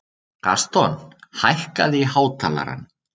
Gaston, hækkaðu í hátalaranum.